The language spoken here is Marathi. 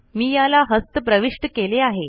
मी याला हस्त प्रविष्ट केले आहे